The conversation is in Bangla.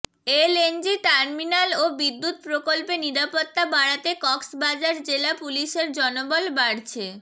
এলএনজি টার্মিনাল ও বিদ্যুৎ প্রকল্পে নিরাপত্তা বাড়াতে কক্সবাজার জেলা পুলিশের জনবল বাড়ছে